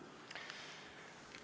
Aitäh küsimuse eest!